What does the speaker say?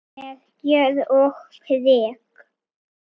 Með gjörð og prik.